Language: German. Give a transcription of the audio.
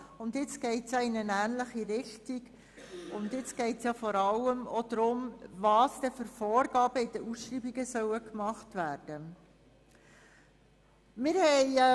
Jetzt geht es in eine ähnliche Richtung, wobei es vor allem auch darum geht, welche Vorgaben bei den Ausschreibungen gemacht werden sollen.